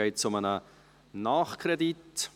es geht hier um einen Nachkredit.